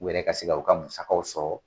U yɛrɛ ka se ka u ka masukaw sɔrɔ